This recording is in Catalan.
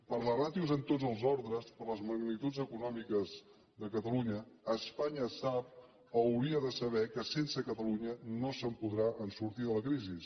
per les ràtios en tots els ordres per les magnituds econòmiques de catalunya espanya sap o hauria de saber que sense catalunya no podrà sortir de la crisi